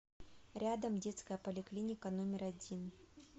рядом детская поликлиника номер один